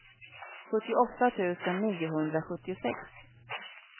sjuttioåtta tusen niohundrasjuttiosex